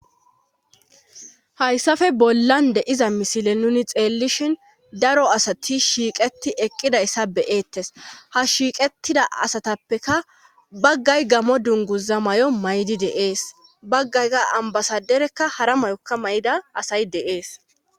Hayssafe bollan de7iza misile nuuni xeellishin daro asati shiiqeti eqqidayssa be7ettes ha shiiqettida asatappeka baggay gammo dunguza mayo mayidi de7ees baggay qa ambasaderekka hara mayokka mayida asay de7ees.